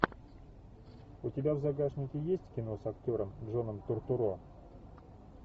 у тебя в загашнике есть кино с актером джоном туртурро